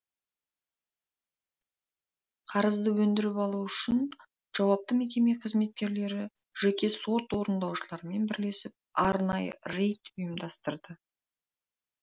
қарызды өндіріп алу үшін жауапты мекеме қызметкерлері жеке сот орындаушылармен бірлесіп арнайы рейд ұйымдастырды